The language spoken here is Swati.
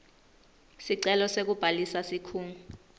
sicelo sekubhalisa sikhungo